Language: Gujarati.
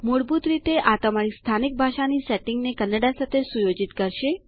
મૂળભૂત રીતે આ તમારી સ્થાનિક ભાષાની સેટીંગને કન્નડા સાથે સુયોજિત કરશે